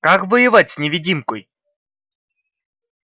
как воевать с невидимкой